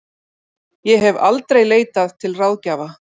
Ég hef aldrei leitað til ráðgjafa.